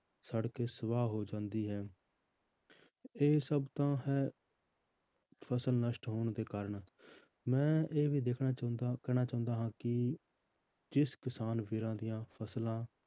ਸੜ ਕੇ ਸਵਾਹ ਹੋ ਜਾਂਦੀ ਹੈ ਇਹ ਸਭ ਤਾਂ ਹੈ ਫਸਲ ਨਸ਼ਟ ਹੋਣ ਦੇ ਕਾਰਨ ਮੈਂ ਇਹ ਵੀ ਦੇਖਣਾ ਚਾਹੁੰਦਾ, ਕਹਿਣਾ ਚਾਹੁੰਦਾ ਹਾਂ ਕਿ ਜਿਸ ਕਿਸਾਨ ਵੀਰਾਂ ਦੀਆਂ ਫਸਲਾਂ